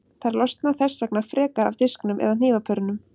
Þær losna þess vegna frekar af disknum eða hnífapörunum.